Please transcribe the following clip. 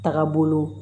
Taga bolo